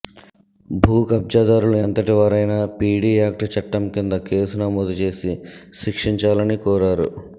భూ కబ్జాదారులు ఎంతటి వారైనా పీడీ యాక్ట్ చట్టం కింద కేసు నమోదు చేసి శిక్షించాలని కోరారు